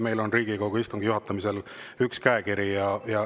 Meil on Riigikogu istungi juhatamisel üks käekiri.